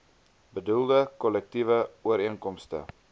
bedoelde kollektiewe ooreenkomste